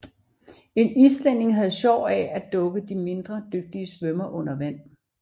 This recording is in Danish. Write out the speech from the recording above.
En islænding havde sjov af at dukke de mindre dygtige svømmere under vand